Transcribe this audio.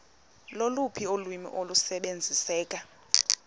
loluphi ulwimi olusebenziseka